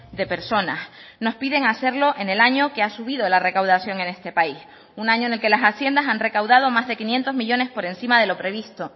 de personas nos piden hacerlo en el año que ha subido la recaudación en este país un año en el que las haciendas han recaudado más de quinientos millónes por encima de lo previsto